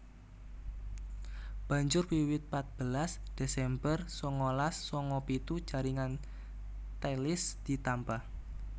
Banjur wiwit patbelas Desember sangalas sanga pitu jaringan Thalys ditambah